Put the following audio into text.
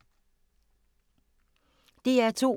DR2